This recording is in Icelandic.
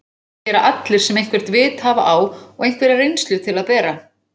Það gera allir sem eitthvert vit hafa á og einhverja reynslu til að bera.